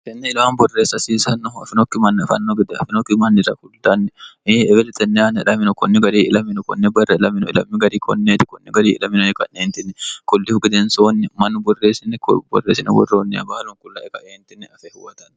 kenne ilamam borreessa asiisannohu afinokki manni afanno gede afinokki mannira kuldanni iebelexenni anedhamino kunni gari ilamino kunne barre lamino ilammi gari konneeti kunni gari ilaminoeqa'neentinni kullihu gedensoonni mannu borreessini borreesine worroonniya baalon qulla ega eentinne afe huwatanni